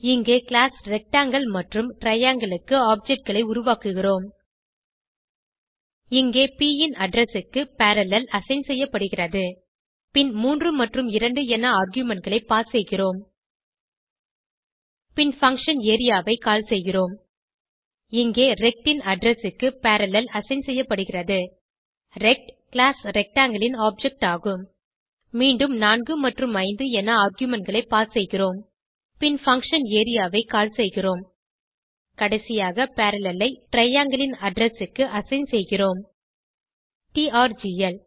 இங்கே class rectangle மற்றும் triangle க்கு objectகளை உருவாக்குகிறோம் இங்கே ப் ன் அட்ரெஸ் க்கு பரல்லேல் அசைன் செய்யப்படுகிறது பின் 3 மற்றும் 2 என ஆர்குமென்ட் களை பாஸ் செய்கிறோம் பின் பங்ஷன் ஏரியா ஐ கால் செய்கிறோம் இங்கே ரெக்ட் ன் அட்ரெஸ் க்கு பரல்லேல் அசைன் செய்யப்படுகிறது ரெக்ட் கிளாஸ் Rectangleன் ஆப்ஜெக்ட் ஆகும் மீண்டும் 4 மற்றும் 5 என ஆர்குமென்ட் களை பாஸ் செய்கிறோம் பின் பங்ஷன் ஏரியா ஐ கால் செய்கிறோம் கடைசியாக பரல்லேல் ஐ டிரையாங்கில் ன் அட்ரெஸ் க்கு அசைன் செய்கிறொம் டிஆர்ஜிஎல்